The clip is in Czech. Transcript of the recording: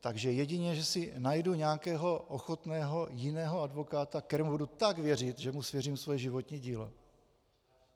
Takže jedině že si najdu nějakého ochotného jiného advokáta, kterému budu tak věřit, že mu svěřím svoje životní dílo.